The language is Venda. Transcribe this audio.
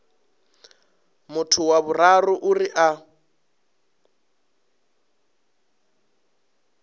muthu wa vhuraru uri a